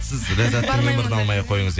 сіз ләззаттың номерін алмай ақ қойыңыз иә